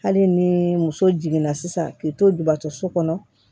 Hali ni muso jiginna sisan k'i to jubatɔ so kɔnɔ